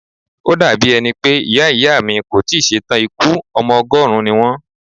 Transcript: Ó dà bí ẹni pé Ìyá Ìyá mi kò tí ì ṣe tàn ikú, ọmọ ọgọ́rùn-ún ni wón.